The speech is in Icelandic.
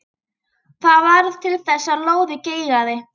Það varð til þess að lóðið geigaði.